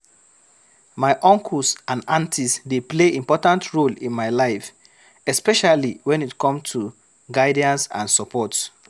My uncles and aunties dey play important role in my life, especially when it comes to guidance and support.